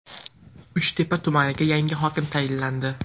Uchtepa tumaniga yangi hokim tayinlandi .